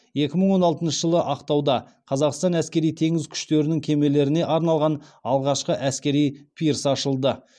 екі мың он алтыншы жылы ақтауда қазақстан әскери теңіз күштерінің кемелеріне арналған алғашқы әскери пирс ашылды